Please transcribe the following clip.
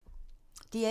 DR1